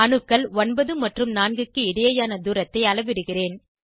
அணுக்கள் 9 மற்றும் 4 க்கு இடையேயான தூரத்தை அளவிடுகிறேன்